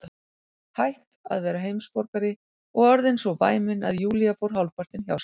Hætt að vera heimsborgari og orðin svo væmin að Júlía fór hálfpartinn hjá sér.